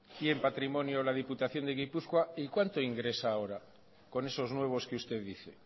y en patrimonio la diputación de gipuzkoa y cuanto ingresa ahora con esos nuevos que usted dice